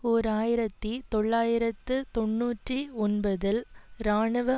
ஓர் ஆயிரத்தி தொள்ளாயிரத்து தொன்னூற்றி ஒன்பதில் இராணுவ